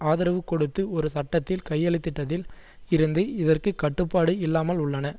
ஆதரவு கொடுத்து ஒரு சட்டத்தில் கையெழுத்திட்டதில் இருந்து இதற்கு கட்டுப்பாடு இல்லாமல் உள்ளன